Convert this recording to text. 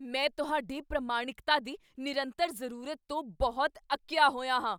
ਮੈਂ ਤੁਹਾਡੀ ਪ੍ਰਮਾਣਿਕਤਾ ਦੀ ਨਿਰੰਤਰ ਜ਼ਰੂਰਤ ਤੋਂ ਬਹੁਤ ਅੱਕਿਆ ਹੋਇਆ ਹਾਂ।